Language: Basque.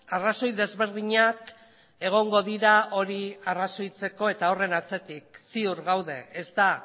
arrazoi desberdinak egongo dira hori arrazoitzeko eta horren atzetik ziur gaude ez da